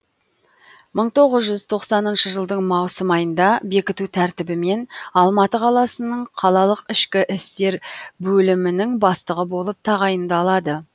мың тоғыз жүз тоқсаныншы жылдың маусым айында бекіту тәртібімен алматы қаласының қалалық ішкі істер бөлімінің бастығы болып тағайындалады